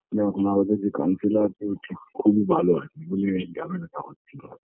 না এখন আমাদের যে councilor আছে ও হচ্ছে খুবই ভালো আরকি বলে এই ঝামেলাটা হচ্ছিল